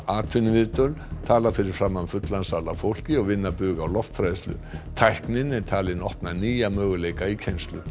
atvinnuviðtöl tala fyrir framan fullan sal af fólki og vinna bug á lofthræðslu tæknin er talin opna nýja möguleika í kennslu